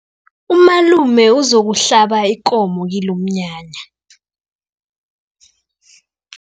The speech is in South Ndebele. Umalume uzokuhlaba ikomo kilomnyanya.